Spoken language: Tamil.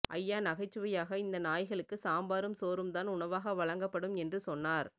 ஐயா நகைச்சுவையாக இந்த நாய்களுக்கு சாம்பாரும் சோறும்தான் உணவாக வழங்கப்படும் என்று சொன்னார்